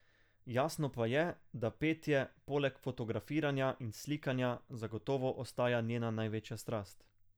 Jasno pa je, da petje, poleg fotografiranja in slikanja, zagotovo ostaja njena največja strast.